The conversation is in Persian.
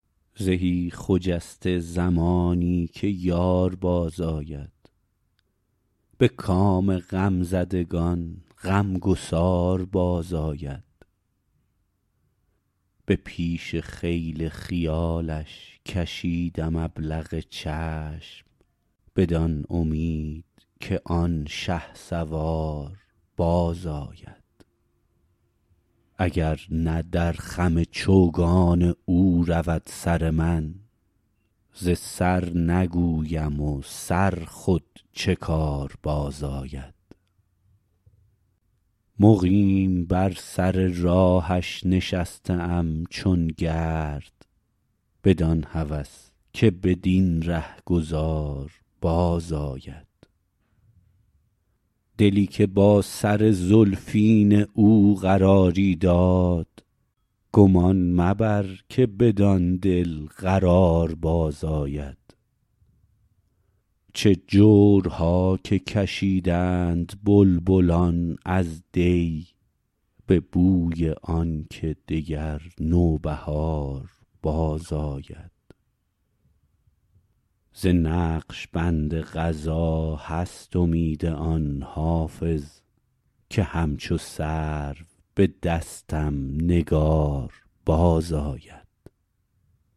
زهی خجسته زمانی که یار بازآید به کام غمزدگان غمگسار بازآید به پیش خیل خیالش کشیدم ابلق چشم بدان امید که آن شهسوار بازآید اگر نه در خم چوگان او رود سر من ز سر نگویم و سر خود چه کار بازآید مقیم بر سر راهش نشسته ام چون گرد بدان هوس که بدین رهگذار بازآید دلی که با سر زلفین او قراری داد گمان مبر که بدان دل قرار بازآید چه جورها که کشیدند بلبلان از دی به بوی آن که دگر نوبهار بازآید ز نقش بند قضا هست امید آن حافظ که همچو سرو به دستم نگار بازآید